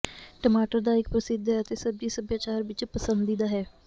ਟਮਾਟਰ ਦਾ ਇੱਕ ਪ੍ਰਸਿੱਧ ਹੈ ਅਤੇ ਸਬਜ਼ੀ ਸਭਿਆਚਾਰ ਵਿੱਚ ਪਸੰਦੀਦਾ ਹੈ